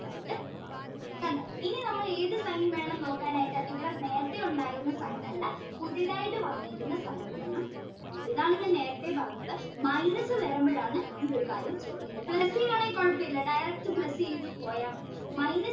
sign വേണം നോക്കാൻ ആയിട്ട് ഇവിടെ നേരത്തെ ഉണ്ടായിരുന്ന sign ല്ല പുതിയതായിട്ട് വന്നിരിക്കുന്ന sign വേണം ഇതാണ് ഞാൻ നേരത്തെ പറഞ്ഞത് minus വരുമ്പോഴാണ് ഈയൊരു കാര്യം ശ്രദ്ധിക്കേണ്ടത് ആണേൽ കുഴപ്പമില്ല direct plus ചെയ്തു പോയാ മതി minus